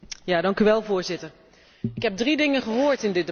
Voorzitter, ik heb drie dingen gehoord in dit debat.